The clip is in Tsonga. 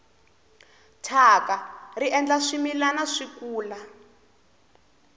thyaka ri endla swimilana swi kura